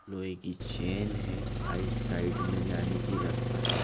लोहे की चैन है आइट साइड में जाने की रास्ता है।